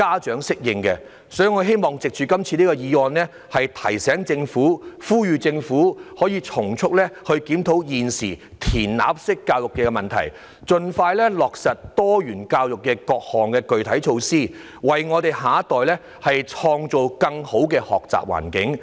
所以，我希望藉着今次議案呼籲政府從速檢討現時"填鴨式"教育的問題，盡快落實各項具體的多元教育措施，為我們的下一代創造更好的學習環境。